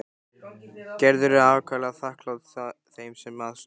Gerður er ákaflega þakklát þeim sem að stóðu.